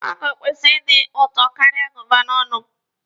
Mango kwesịrị ịtọ ụtọ karịa goova n'ọnụ m.